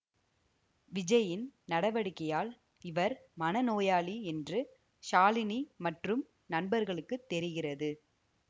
விஜய்யின் நடவடிக்கையால் இவர் மனநோயாளி என்று ஷாலினி மற்றும் நண்பர்களுக்கு தெரிகிறது